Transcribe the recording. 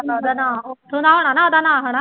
ਉੱਥੋਂ ਦਾ ਹੋਣਾ ਨਾ ਉਹਦਾ ਨਾਂ ਹਨਾ